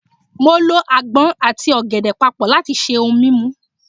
mo lọ agbọn ati ògèdè papọ lat ṣe ohun mímu